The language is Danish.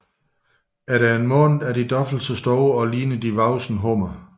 Efter en måned er de dobbelt så store og ligner de voksne hummer